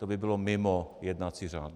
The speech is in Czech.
To by bylo mimo jednací řád.